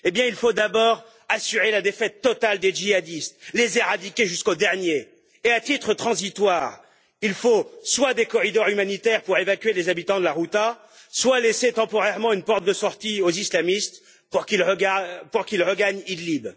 Il faut d'abord assurer la défaite totale des djihadistes, les éradiquer jusqu'au dernier et, à titre transitoire, il faut soit des corridors humanitaires pour évacuer les habitants de la Ghouta, soit laisser temporairement une porte de sortie aux islamistes pour qu'ils regagnent Idlib.